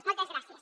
moltes gràcies